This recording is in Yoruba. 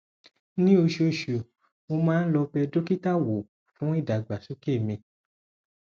ní oṣooṣù mo máa ń lọ bẹ dókítà wò fún ìdàgbàsókè mi